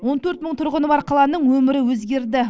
он төрт мың тұрғыны бар қаланың өмірі өзгерді